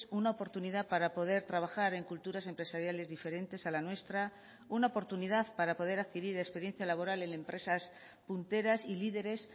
una oportunidad para poder trabajar en culturas empresariales diferentes a la nuestra una oportunidad para poder adquirir experiencia laboral en empresas punteras y líderes